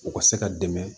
U ka se ka dɛmɛ